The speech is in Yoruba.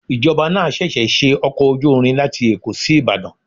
Ìjọba náà ṣẹ̀ṣẹ̀ ṣe ọkọ̀ ojú irin láti Èkó sí Ìbàdàn.